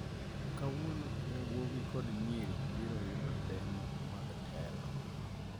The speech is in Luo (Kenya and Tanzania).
Kawuono yawuowi kod nyiri biro yudo lemo mag telo